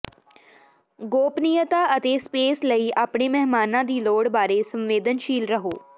ਗੋਪਨੀਯਤਾ ਅਤੇ ਸਪੇਸ ਲਈ ਆਪਣੇ ਮਹਿਮਾਨਾਂ ਦੀ ਲੋੜ ਬਾਰੇ ਸੰਵੇਦਨਸ਼ੀਲ ਰਹੋ